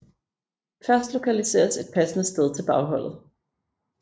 Først lokaliseres et passende sted til bagholdet